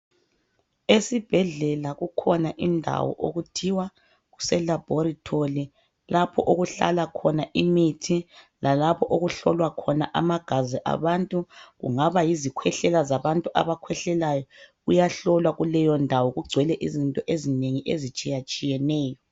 esibhedlela kukhona indawo okuthiwa kuse labholitholi lapho okuhlala khoa iithi lalapho okuhlolwa khona amagazi wabantu kungaba yizi khwehlela zabantu abakhwehlelayo kugcwele izinto ezitshiyeneyo